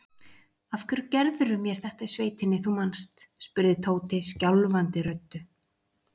Af hverju gerðirðu mér þetta í sveitinni, þú manst? spurði Tóti skjálfandi röddu.